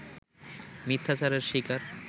মিথ্যাচারের শিকার